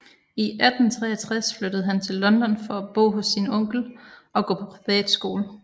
I 1863 flyttede han til London for at bo hos sin onkel og gå på privatskole